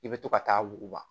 I bɛ to ka taa wuguba